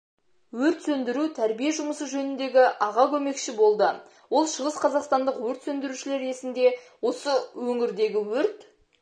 өрт сөндіру-тәрбие жұмысы жөніндегі аға көмекші болды ол шығысқазақстандық өрт сөндірушілер есінде осы өңірдегі өрт